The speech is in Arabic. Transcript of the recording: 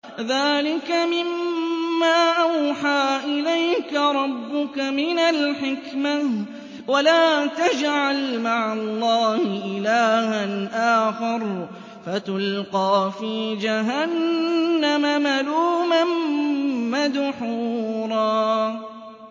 ذَٰلِكَ مِمَّا أَوْحَىٰ إِلَيْكَ رَبُّكَ مِنَ الْحِكْمَةِ ۗ وَلَا تَجْعَلْ مَعَ اللَّهِ إِلَٰهًا آخَرَ فَتُلْقَىٰ فِي جَهَنَّمَ مَلُومًا مَّدْحُورًا